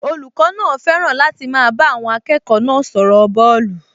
Olùkọ́ náà fẹ́ràn láti máa bá àwọn akẹ́kọ̀ọ́ náà sọ̀rọ̀ bọ́ọ̀lù